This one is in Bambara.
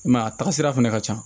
I m'a ye a taga sira fɛnɛ ka ca